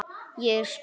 Ég spring.